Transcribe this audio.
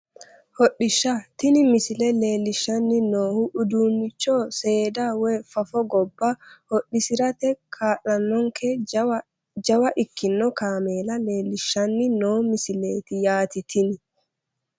Hodhishsha tini misile leellishshanni noohu uduunnicho seeda woyi fafo gobba hodhisirate kaa'lannonkeha jawa ikkino kaameela leellishshanni noo misileeti yaate tini